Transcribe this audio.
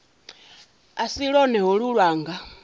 a si lwone holu lwanga